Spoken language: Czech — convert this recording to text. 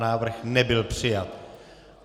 Návrh nebyl přijat.